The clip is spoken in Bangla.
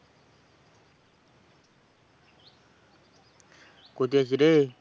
কোথায় আছিস রে?